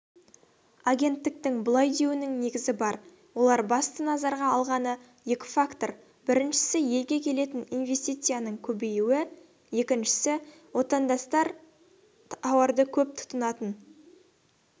агенттіктің бұлай деуінің негізі бар олар басты назарға алғаны екі фактор біріншісі елге келетін инвестицияның көбеюі екіншісі отанадастарыз тауарды көп тұтынатын